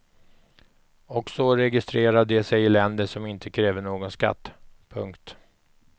Och så registrerar de sig i länder som inte kräver någon skatt. punkt